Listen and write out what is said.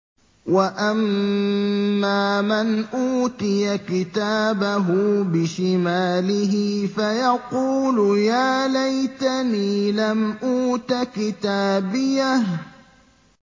وَأَمَّا مَنْ أُوتِيَ كِتَابَهُ بِشِمَالِهِ فَيَقُولُ يَا لَيْتَنِي لَمْ أُوتَ كِتَابِيَهْ